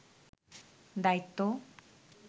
দায়িত্ব